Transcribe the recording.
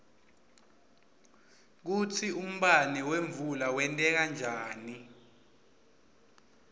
kutsi umbane wemvula wenteka njani